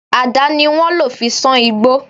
Àdá ni wọ́n lò fi sán igbó